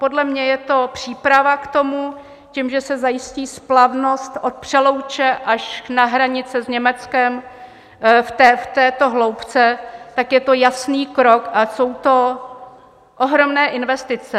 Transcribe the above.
Podle mě je to příprava k tomu tím, že se zajistí splavnost od Přelouče až na hranice s Německem v této hloubce, tak je to jasný krok a jsou to ohromné investice.